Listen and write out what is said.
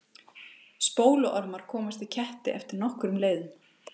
spóluormar komast í ketti eftir nokkrum leiðum